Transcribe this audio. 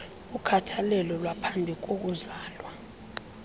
ukhathalelo lwaphambi kokuzala